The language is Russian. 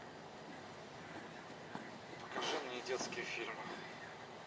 покажи мне детские фильмы